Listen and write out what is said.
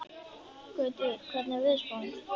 Gautviður, hvernig er veðurspáin?